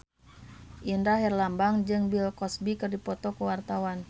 Indra Herlambang jeung Bill Cosby keur dipoto ku wartawan